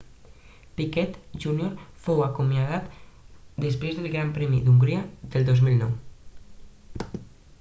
piquet jr fou acomiadat després del gran premi d'hongria del 2009